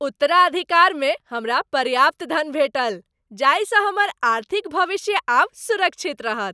उत्तराधिकारमे हमरा पर्याप्त धन भेटल जाहिसँ हमर आर्थिक भविष्य आब सुरक्षित रहत।